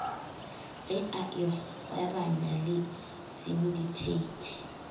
ge a ikgweranya le sinditheithi